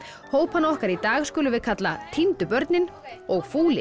hópinn okkar í dag skulum við kalla týndu börnin og